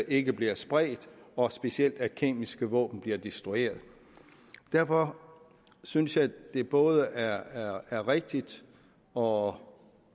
ikke bliver spredt og specielt at kemiske våben bliver destrueret derfor synes jeg at det både er er rigtigt og